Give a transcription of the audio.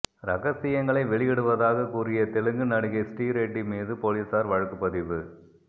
ரகசியங்களை வெளியிடுவதாக கூறிய தெலுங்கு நடிகை ஸ்ரீரெட்டி மீது போலீஸார் வழக்குப் பதிவு